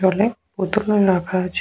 জলের বোতল-ও রাখা আছে।